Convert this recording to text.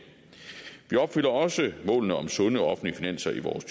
vi opfylder også målene om sunde offentlige finanser i vores